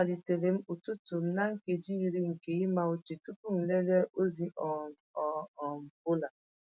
Amalitere m ụtụtụ m na nkeji iri nke ịma uche tupu m lelee ozi um ọ um bụla.